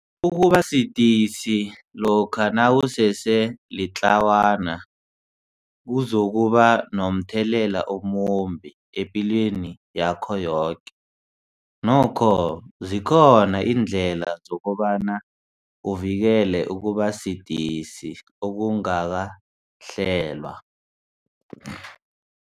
Ukubasidisi lokha nawusese litlawana kuzokuba nomthelela omumbi epilweni yakho yoke, nokho zikhona iindlela zokobana uvikele ukubasidisi okungakahlelwa.